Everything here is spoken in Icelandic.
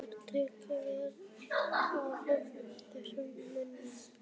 Mér var tekið vel af öllum þessum mönnum.